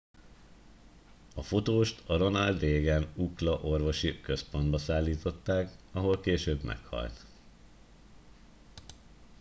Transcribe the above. a fotóst a ronald reagan ucla orvosi központba szállították ahol később meghalt